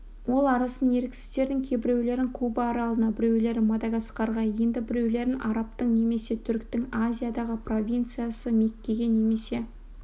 ол арасын еріксіздердің кейбіреулерін куба аралына біреулерін мадагаскарға енді біреулерін арабтың немесе түріктің азиядағы провинциясы меккеге немесе